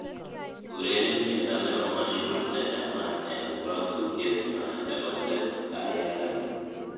ureren tiendo nepo mushrooms nechamat en rotutiet nywan nepo leet gaiagai